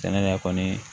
Sɛnɛ la kɔni